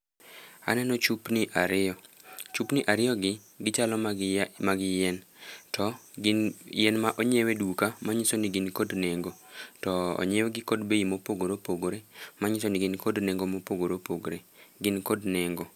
Aneno chupni ariyo. Chupni ariyogi gichalo mag yien to gin yien ma onyiew e duka manyiso ni gin kod nengo to onyiewgi kod bei mopogore opogore manyiso ni gin kod nengo mopogore opogore, gin kod nengo.